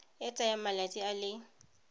e tsayang malatsi a le